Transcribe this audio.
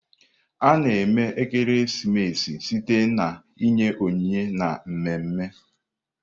A-na eme ekeresimesi site na inye onyinye na mmemme.